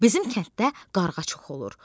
Bizim kənddə qarğa çox olur.